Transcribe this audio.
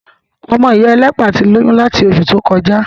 Ọmọ ìyá ẹlẹ́pà tí lóyún láti oṣù tó kọjá.